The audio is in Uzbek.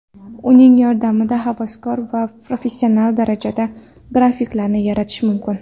Uning yordamida havaskor va professional darajada grafikalarni yaratish mumkin.